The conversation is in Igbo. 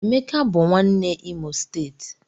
Emeka bụ nwanne Imo steeti